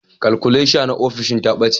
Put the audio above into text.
Kalkuleta na ofishin ta ɓace